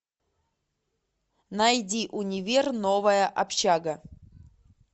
найди универ новая общага